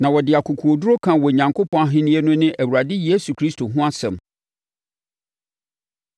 Na ɔde akokoɔduru kaa Onyankopɔn Ahennie no ne Awurade Yesu Kristo ho asɛm.